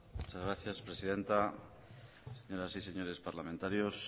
muchas gracias presidenta señoras y señores parlamentarios